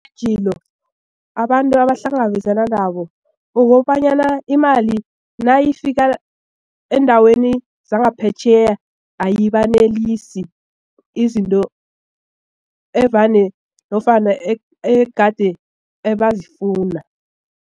Iintjhijilo abantu abahlangabezana nabo ukobanyana imali nayifika eendaweni zangaphetjheya ayibanelisi izinto evane nofana egade ebazifuna.